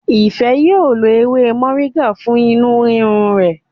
Ife yíò ló ewé Moringa fún inú rirun rè.